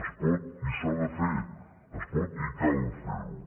es pot i s’ha de fer es pot i cal ferho